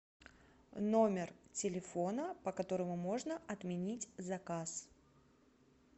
номер телефона по которому можно отменить заказ